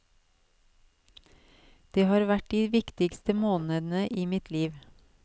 Det har vært de viktigste månedene i mitt liv.